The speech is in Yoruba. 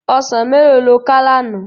Òsán méló ló ká làná?